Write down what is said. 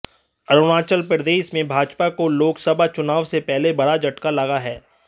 अरुणाचल प्रदेश में भाजपा को लोकसभा चुनाव से पहले बड़ा झटका लगा है